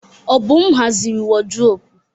Obum haziri wardrọpụ.